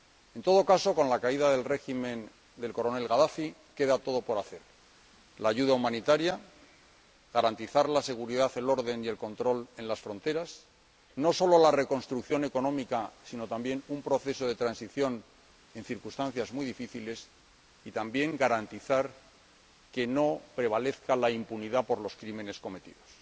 En todo caso, con la caída del régimen del Coronel Gadafi queda todo por hacer la ayuda humanitaria, garantizar la seguridad, el orden y el control en las fronteras, no sólo la reconstrucción económica sino también un proceso de transición en circunstancias muy difíciles, y también garantizar que no prevalezca la impunidad por los crímenes cometidos.